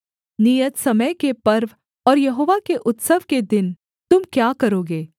नियत समय के पर्व और यहोवा के उत्सव के दिन तुम क्या करोगे